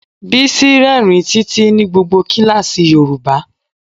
Bísí rírìn títí ní gbogbo kíláàsì yoruba.